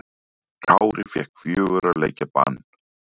Kári fékk fjögurra leikja bann